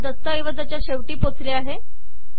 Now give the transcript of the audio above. मी या दस्तऐवजाच्या शेवटी पोचले आहे